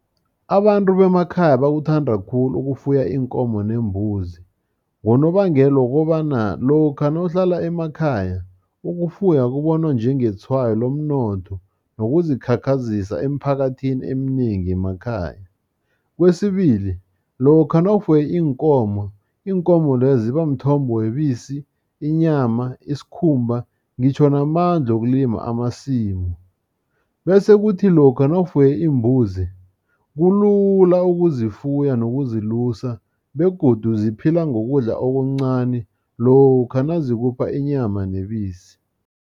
Abantu bemakhaya bakuthanda khulu ukufuya iinkomo neembuzi, ngonobangela wokobana, lokha nawuhlala emakhaya, ukufuya kubonwa njengetshwayo lomnotho. nokuzikhakhazisa emphakathini eminengi yemakhaya. Kwesibili lokha nawufuye iinkomo, iinkomo lezo zibamthombo webisi, inyama, iskhumba ngitjho namandla wokulima amasimu, bese kuthi lokha nawufuye iimbuzi, kulula ukuzifuya nokuzilusa, begodu ziphila ngokudla okuncani, lokha nazikupha inyama nebisi.